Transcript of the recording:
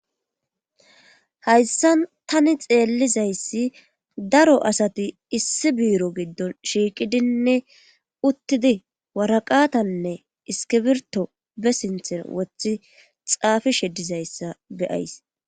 Hayssan tani xeellizayssi daro asati issi biiro giddon shiiqidinne uttidi waraqatanne iskibirto be sinthen wothi xaafi shedizayssa beyays.